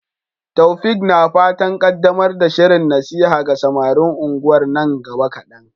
Taofiq na fatan kaddamar da shirin nasiha ga samarin unguwar nan gaba kadan.